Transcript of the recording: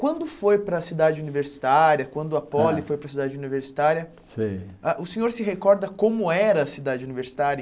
Quando foi para a cidade universitária, quando a Poli foi para a cidade universitária, Sei Ah o senhor se recorda como era a cidade universitária?